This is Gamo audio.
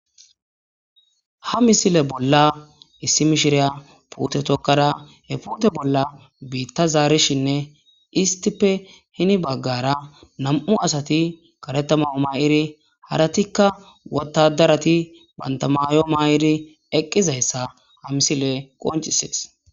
Ha misile bolla issi mishiriya pute tokkara he puute bolla biitta zaarishinne istippe hini baggara nam7u asati karetamayo ma7iri haratikka wotadarati bantamayo ma7iri eqqizayssa ha misile qonci siq